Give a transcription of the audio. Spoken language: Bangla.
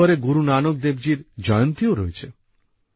নভেম্বরে গুরু নানক দেবজীর জয়ন্তীও আছে